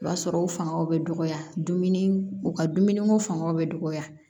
O b'a sɔrɔ o fangaw bɛ dɔgɔya dumuni u ka dumuniko fangaw bɛ dɔgɔya